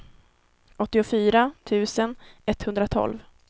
åttiofyra tusen etthundratolv